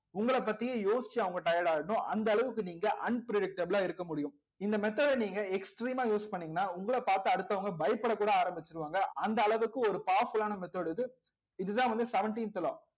உங்களை பத்தியே யோசிச்சு அவங்க tired ஆயிடணும் அந்த அளவுக்கு நீங்க unpredictable ஆ இருக்க முடியும் இந்த method அ நீங்க extreme ஆ use பண்ணீங்கன்னா உங்களை பார்த்து அடுத்தவங்க பயப்படக்கூட ஆரம்பிச்சிருவாங்க அந்த அளவுக்கு ஒரு powerful ஆன method இது இதுதான் வந்து seventeenth law